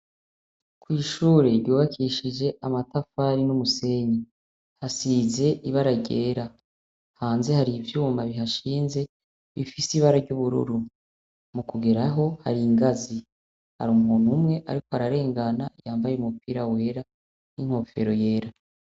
Kw'ishure ryubakishije amatafari n'umusenyi. Hasize ibara ryera. Hanze hari ivyuma bihashinze bifise ibara ry'ubururu. Mu kugeraho, hari ingazi. Har'umuntu umwe ariko ararengana yambaye umupira wera n'inkofero yera.